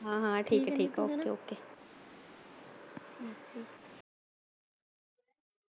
ਹਾਂ ਹਾਂ ਠੀਕ ਐ okok